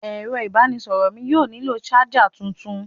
Ẹ̀rọ ìbánisọ̀rọ̀ mí yóò nílò ṣájà tuntun.